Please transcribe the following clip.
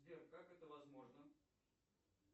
сбер как это возможно